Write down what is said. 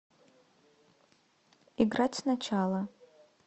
играть сначала